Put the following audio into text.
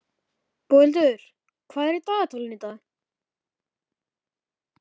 Boghildur, hvað er í dagatalinu í dag?